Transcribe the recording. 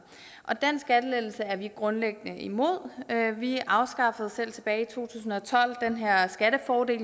den skattelettelse er vi grundlæggende imod vi afskaffede selv tilbage i to tusind og tolv den her skattefordel